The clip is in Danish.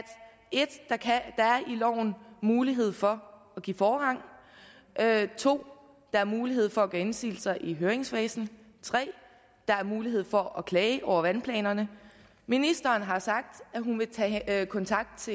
loven mulighed for at give forrang 2 der er mulighed for at gøre indsigelser i høringsfasen og 3 der er mulighed for at klage over vandplanerne ministeren har sagt at hun vil tage kontakt